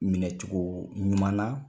Minɛcogo ɲuman na.